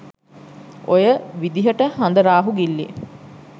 ඔය විදහට හඳ රාහු ගිල්ලේ